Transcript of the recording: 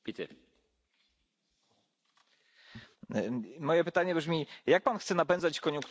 Moje pytanie brzmi jak Pan chce napędzać koniunkturę w gospodarce przy pomocy pieniędzy zabranych z tej gospodarki?